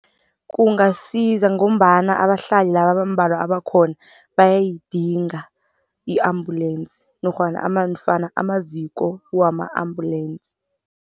Kungasiza ngombana abahlali laba abambalwa abakhona bayayidinga i-ambulance nofana amaziko wama-ambulensi.